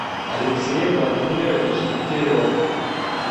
алексей владимирович дегтярев